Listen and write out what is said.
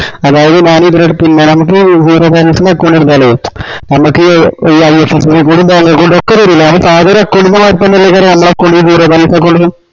അതായതു ഞാനീ ഇവിട പിന്നാ ഞമ്മക്ക് zero balance ൻറെ account എടുത്താലെ നമ്മക്ക് ഈ IFSC code ഉ bank account ഉം ഒക്കെ തരൂലേ സാധാ ഒരു account ൻറെ മരിത്തന്നെല്ലെ വെരാ ഞമ്മളെ account ഉം zero balance account ലും